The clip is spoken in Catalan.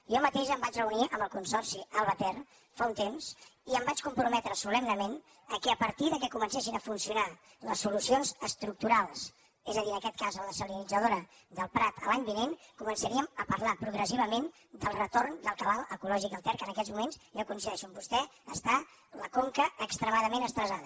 jo mateix em vaig reunir amb el consorci alba ter fa un temps i em vaig comprometre solemnement que a partir que comencessin a funcionar les solucions estructurals és a dir en aquest cas la dessalinitzadora del prat l’any vinent començaríem a parlar progressivament del retorn del cabal ecològic al ter que en aquests moments jo coincideixo amb vostè que està la conca extremadament estressada